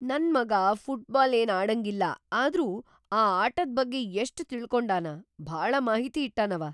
ನನ್ ಮಗಾ ಫುಟ್ಬಾಲ್ ಏನ್‌ ಆಡಂಗಿಲ್ಲ ಆದ್ರೂ ಆ ಆಟದ್ ಬಗ್ಗೆ ಎಷ್ಟ್‌ ತಿಳಕೊಂಡಾನ, ಭಾಳ ಮಾಹಿತಿ ಇಟ್ಟಾನವ.